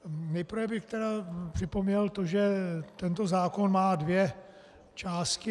Nejprve bych tedy připomněl to, že tento zákon má dvě části.